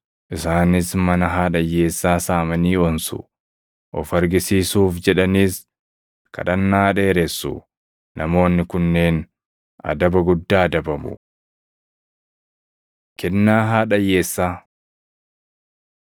Isaanis mana haadha hiyyeessaa saamanii onsu; of argisiisuuf jedhaniis kadhannaa dheeressu. Namoonni kunneen adaba guddaa adabamu.” Kennaa Haadha Hiyyeessaa 12:41‑44 kwf – Luq 21:1‑4